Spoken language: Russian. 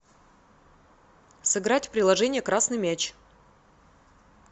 сыграть в приложение красный мяч